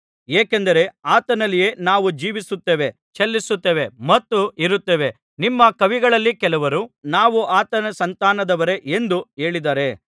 ಏಕೆಂದರೆ ಆತನಲ್ಲಿಯೇ ನಾವು ಜೀವಿಸುತ್ತೇವೆ ಚಲಿಸುತ್ತೇವೆ ಮತ್ತು ಇರುತ್ತೇವೆ ನಿಮ್ಮ ಕವಿಗಳಲ್ಲಿ ಕೆಲವರು ನಾವು ಆತನ ಸಂತಾನದವರೇ ಎಂದು ಹೇಳಿದ್ದಾರೆ